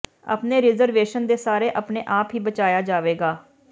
ਆਪਣੇ ਰਿਜ਼ਰਵੇਸ਼ਨ ਦੇ ਸਾਰੇ ਆਪਣੇ ਆਪ ਹੀ ਬਚਾਇਆ ਜਾਵੇਗਾ